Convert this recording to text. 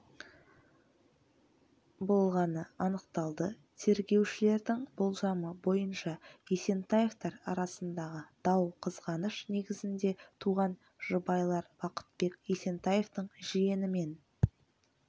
болғаны анықталды тергеушілердің болжамы бойынша есентаевтар арасындағы дау қызғаныш негізінде туған жұбайлар бақытбек есентаевтың жиенімен